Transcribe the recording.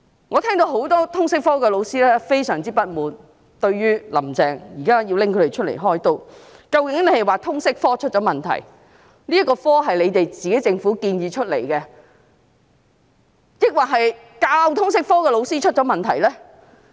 我聽到很多通識科老師表示，對於"林鄭"現時拿他們"開刀"，感到非常不滿，究竟她是說通識科出了問題——這學科是政府建議的——還是教授通識科的老師出了問題呢？